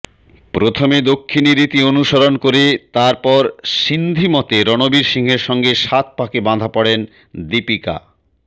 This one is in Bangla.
প্রথমে দক্ষিণী রীতি অনুসরণ করে তারপর সিন্ধি মতে রণবীর সিংয়ের সঙ্গে সাতপাকে বাঁধা পড়েন দীপিকা